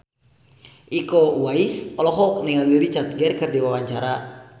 Iko Uwais olohok ningali Richard Gere keur diwawancara